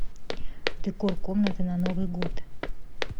декор комнаты на новый год